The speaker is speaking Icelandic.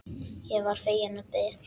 Ég varð fegin og beið.